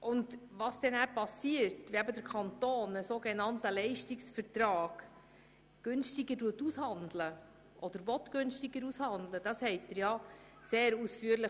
Sie konnten sehr ausführlich lesen, was geschieht, wenn der Kanton einen Leistungsvertrag zu günstigeren Konditionen aushandelt oder dies tun will.